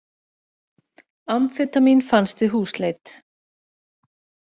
Amfetamín fannst við húsleit